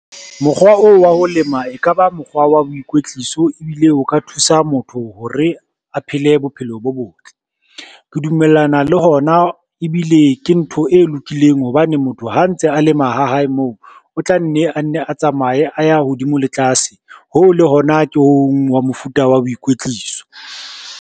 Mokgwa oo wa ho lema e kaba mokgwa wa boikwetliso, ebile o ka thusa motho hore a phele bophelo bo botle. Ke dumellana le hona ebile ke na ntho e lokileng hobane motho ha a ntse a lema ha hae moo, o tla nne a nne a tsamaye a ya hodimo le tlase, hoo le hona ke ho hong hwa mofuta wa boikwetliso.